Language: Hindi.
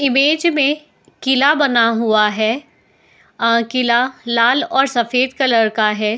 इमेज में किला बना हुआ है | आ किला लाल और सफेद कलर का है।